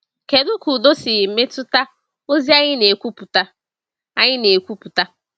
Kedu ka udo si metụta ozi anyị na-ekwupụta? anyị na-ekwupụta?